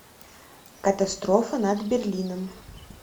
катастрофа над берлином